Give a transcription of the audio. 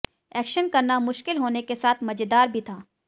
action करना मुश्किल होने के साथ मजेदार भी था